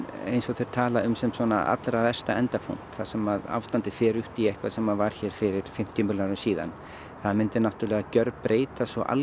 eins og þeir tala um sem svona allra versta endapunkt þar sem ástandið fer út í eitthvað sem að var hér fyrir fimmtíu milljón árum síðan það myndi náttúrulega gjörbreyta svo